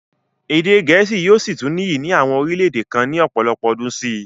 Èdè gẹ̀ẹ́sì yóò sì tún níyì ní àwọn orílẹ-èdè kan ní ọ̀pọ̀lọpọ̀ ọdún sí i.